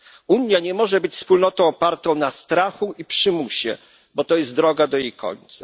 Unia nie może być Wspólnotą opartą na strachu i przymusie, bo to jest droga do jej końca.